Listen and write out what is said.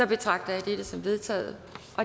betragter jeg dette som vedtaget